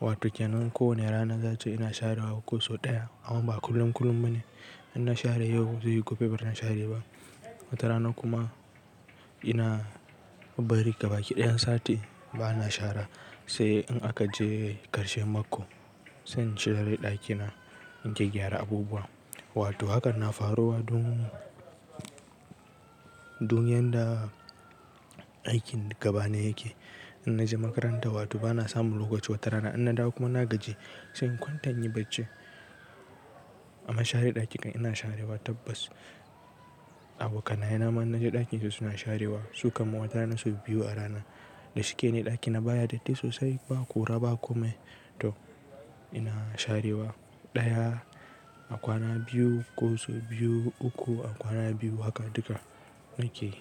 Wato kenan ko wane rana zance ina share wa ko sau ɗaya. Amma ba kullum kullum bane. In na share yau zai yi gobe ban share ba. Wata rana kuma ina bari gabaɗaya sati ba na share. Sai in aka je ƙarshen mako sai in share ɗakina in je gyaggyara abubuwa. Wato hakan na faruwa don don yanda aikin gaba na yake. In naje makaranta wato bana samu lokaci wata rana in na dawo kuma na gaji sai in kwanta inyi bacci. Amma share ɗaki ɗin ina sharewa tabbas. Abokanaye ma in naje ɗakin su suna sharewa su kam wata rana sau biyu a rana. Da shike ne ɗakina baya datti sosai ba kura ba kome. To ina sharewa ɗaya a kwana biyu ko sau biyu uku a kwana biyu hakan duka na ke yi.